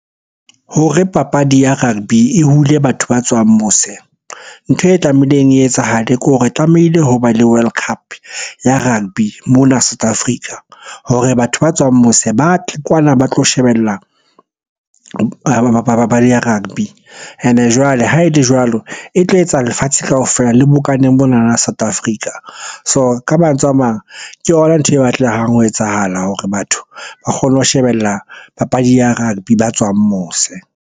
Hore papadi ya rugby e hule batho ba tswang mose. Ntho e tlameileng e etsahale ke hore re tlamehile ho ba le World Cup ya rugby mona South Africa hore batho ba tswang mose ba tle kwana ba tlo shebella papadi ya rugby. Ene jwale ha e le jwalo, e tlo etsa lefatshe kaofela le bokane monana South Africa. So, ka mantswe a mang ke yona ntho e batlehang ho etsahala hore batho ba kgone ho shebella papadi ya rugby ba tswang mose.